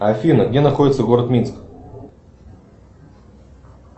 афина где находится город минск